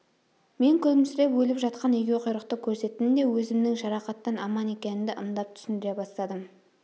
мен күлімсіреп өліп жатқан егеуқұйрықты көрсеттім де өзімнің жарақаттан аман екенімді ымдап түсіндіре бастадым